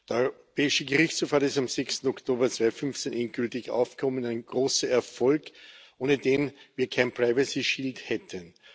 Der Europäische Gerichtshof hat es am 6. Oktober 2015 endgültig aufgehoben ein großer Erfolg, ohne den wir kein hätten.